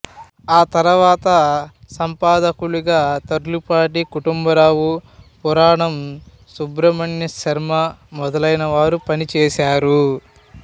ఆ తరువాత సంపాదకులుగా తుర్లపాటి కుటుంబరావు పురాణం సుబ్రహ్మణ్యశర్మ మొదలైనవారు పనిచేశారు